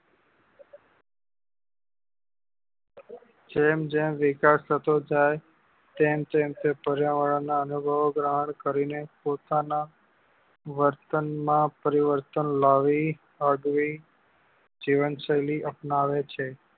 જેમ જેમ વિકાસ થતો જાય તેમ તેમ તે પર્યાવર ના અનુભવો ગ્રહણ કરી ને પોતાના વર્તન માં પરિવર્તન લાવી અડવી જીવન શૈલી અપનાવે છે